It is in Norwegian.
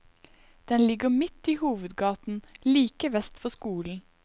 Den ligger mitt i hovedgaten, like vest for skolen.